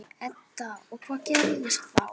Edda: Og hvað gerist þá?